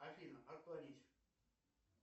афина отклонить